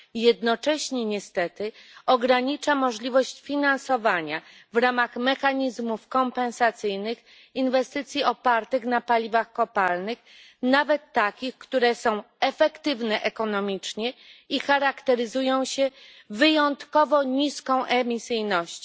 Jednocześnie niestety ogranicza możliwość finansowania w ramach mechanizmów kompensacyjnych inwestycji opartych na paliwach kopalnych, nawet takich, które są efektywne ekonomicznie i charakteryzują się wyjątkowo niską emisyjnością.